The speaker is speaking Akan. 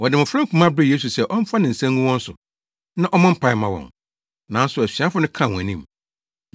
Wɔde mmofra nkumaa brɛɛ Yesu sɛ ɔmfa ne nsa ngu wɔn so, na ɔmmɔ mpae mma wɔn. Nanso asuafo no kaa wɔn anim.